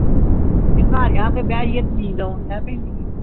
ਤੇ ਘਰ ਆਕੇ ਬਾਈ ਜਾਈਏ ਤੇ ਨਿੰਦਫ਼ ਆਊਂ ਲੱਗ ਪੈਂਦੀ